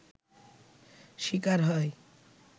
শিকার হয়